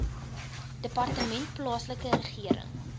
departement plaaslike regering